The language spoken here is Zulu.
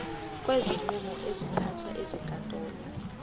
kwezinqumo ezithathwe ezinkantolo